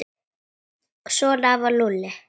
Svona var Lúlli.